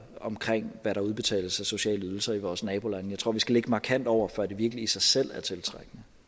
omkring hvad der udbetales af sociale ydelser i vores nabolande jeg tror at vi skal ligge markant over før det virkelig i sig selv er tiltrækkende